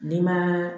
Denma